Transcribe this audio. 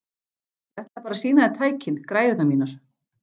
Ég ætlaði bara að sýna þér tækin, græjurnar mínar.